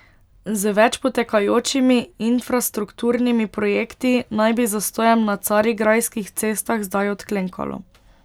Z več potekajočimi infrastrukturnimi projekti naj bi zastojem na carigrajskih cestah zdaj odklenkalo.